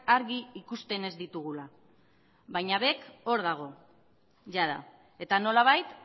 argi ikusten ez ditugula baina bec hor dago jada eta nolabait